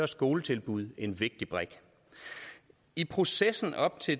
skoletilbud en vigtig brik i processen op til